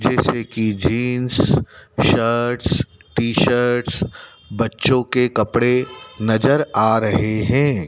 जैसे की jeans shirts T shirts बच्चो के कपड़े नजर आ रहे हैं।